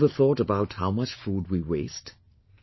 Have you ever thought about how much food we waste